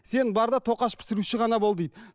сен бар да тоқаш пісіруші ғана бол дейді